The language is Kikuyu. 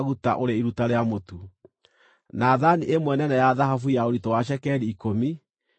na thaani ĩmwe nene ya thahabu ya ũritũ wa cekeri ikũmi, ĩiyũrĩtio ũbumba;